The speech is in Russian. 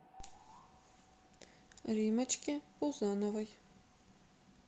риммочке пузановой